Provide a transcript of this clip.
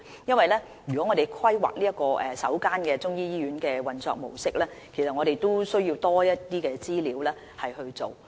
當我們要規劃首間中醫醫院的運作模式時，我們是需要更多的資料。